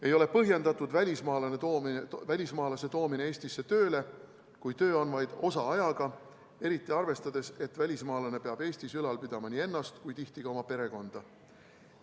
Ei ole põhjendatud välismaalase toomine Eestisse tööle, kui töö on vaid osaajaga, eriti arvestades seda, et välismaalane peab Eestis ülal pidama nii ennast kui tihti ka oma perekonda.